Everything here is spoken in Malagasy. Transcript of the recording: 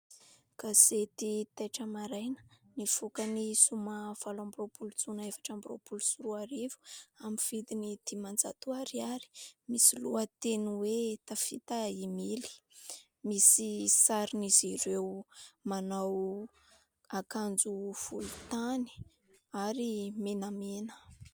Gazety taitra maraina nivoaka ny zoma valo amby roapolo jona efatra amby roapolo sy roa arivo amin'ny vidiny dimanjato ariary. Misy loha teny hoe tafita i Mily. Misy sarin'izy ireo manao ankanjo volon-tany ary menamena.